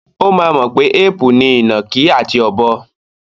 Ó máa mọ̀ pé éèpù ni ìnàkí àti ọ̀bọ.